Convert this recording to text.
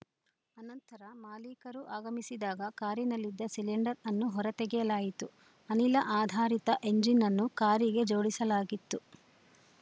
ಅನಂತರ ಮಾಲೀಕರು ಆಗಮಿಸಿದಾಗ ಕಾರಿನಲ್ಲಿದ್ದ ಸಿಲಿಂಡರ್‌ ಅನ್ನು ಹೊರತೆಗೆಯಲಾಯಿತು ಅನಿಲ ಆಧಾರಿತ ಎಂಜಿನ್‌ ಅನ್ನು ಕಾರಿಗೆ ಜೋಡಿಸಲಾಗಿತ್ತು